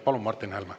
Palun, Martin Helme!